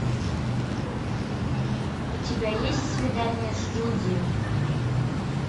у тебя есть свидание с джуди